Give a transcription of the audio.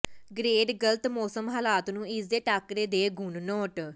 grade ਗਲਤ ਮੌਸਮ ਹਾਲਾਤ ਨੂੰ ਇਸ ਦੇ ਟਾਕਰੇ ਦੇ ਗੁਣ ਨੋਟ